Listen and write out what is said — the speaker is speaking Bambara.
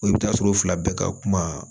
i bɛ taa sɔrɔ o fila bɛɛ ka kuma